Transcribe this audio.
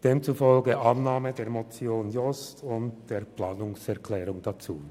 Demzufolge empfehle ich die Annahme der Motion Jost und der Planungserklärung dazu.